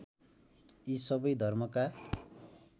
यी सबै धर्मका